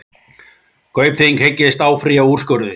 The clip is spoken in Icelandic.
Kaupþing hyggst áfrýja úrskurði